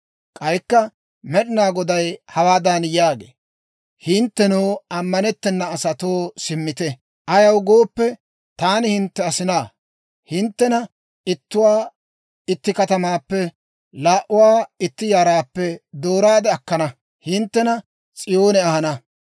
«K'aykka Med'inaa Goday hawaadan yaagee; ‹Hinttenoo, ammanettena asatoo, simmite; ayaw gooppe, taani hintte asinaa. Hinttena ittuwaa itti katamaappe, laa"uwaa itti yaraappe dooraade akkana; hinttena S'iyoone ahana.